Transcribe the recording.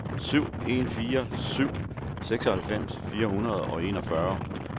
syv en fire syv seksoghalvfems fire hundrede og enogfyrre